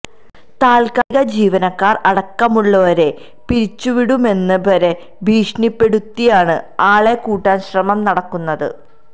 താൽക്കാലിക ജീവനക്കാർ അടക്കമുള്ളഴരെ പിരിച്ചുവിടുമെന്ന് വരെ ഭീഷണിപ്പെടുത്തിയാണ് ആളെ കൂട്ടാൻ ശ്രമം നടക്കുന്നത്